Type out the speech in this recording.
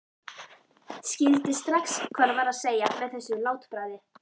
Skildi strax hvað hann var að segja með þessu látbragði.